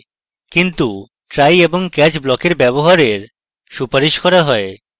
কিন্তু try এবং catch block এর ব্যবহারের সুপারিশ করা হয়